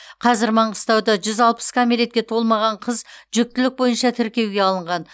қазір маңғыстауда жүз алпыс кәмелетке толмаған қыз жүктілік бойынша тіркеуге алынған